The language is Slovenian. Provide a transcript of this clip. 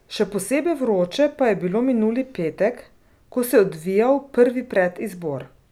Še posebej vroče pa je bilo minuli petek, ko se je odvijal prvi predizbor.